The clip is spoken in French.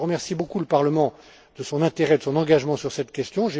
Je remercie beaucoup le Parlement de son intérêt et de son engagement sur cette question.